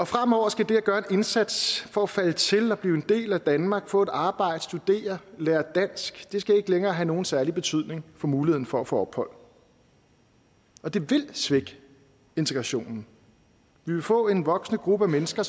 fremover skal det at gøre en indsats for at falde til og blive en del af danmark få et arbejde studere og lære dansk ikke længere have nogen særlig betydning for muligheden for at få ophold og det vil svække integrationen vi vil få en voksende gruppe af mennesker